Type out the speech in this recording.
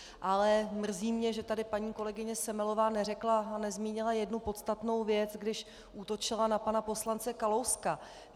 Ale mrzí mě, že tady paní kolegyně Semelová neřekla a nezmínila jednu podstatnou věc, když útočila na pana poslance Kalouska.